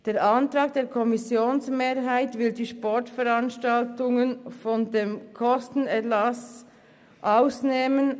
Der Antrag der Kommissionsmehrheit will die Sportveranstaltungen von der Kostenübernahmepflicht ausnehmen.